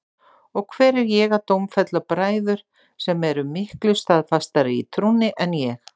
Og hver er ég að dómfella bræður sem eru miklu staðfastari í trúnni en ég?